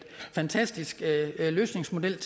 fantastisk løsningsmodel